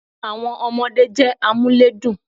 Àwon ọmọdé jé amúlédùn